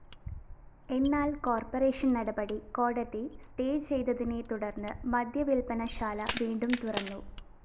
എന്നാല്‍ കോർപ്പറേഷൻ നടപടി കോടതി സ്റ്റേചെയ്തതിനെത്തുടര്‍ന്ന് മദ്യവില്‍പനശാലാ വീണ്ടും തുറന്നു